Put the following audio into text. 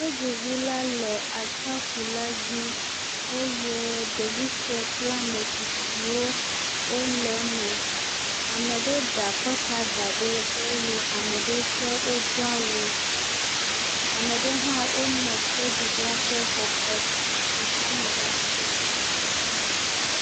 Tɔdziŋula le atsiaƒula dzi eye ɖevi sue kple ame tsitsiwo wole eme. Ame ɖewo ɖe akɔta da ɖe eye ame ɖewo tsɛ wodo awu. Ame ɖewo hã wonɔ tɔdziŋua ƒe kɔ, ɛ, ɛ, etame ɖaa.